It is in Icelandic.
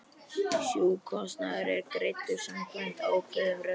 Sjúkrakostnaður er greiddur samkvæmt ákveðnum reglum.